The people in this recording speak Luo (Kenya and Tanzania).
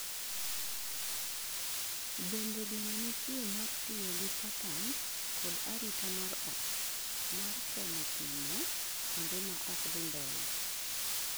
bende geno nitie mar tiyo gi patterns kod arita mar ot, mar temo pimo kuonde maok dhi mbele?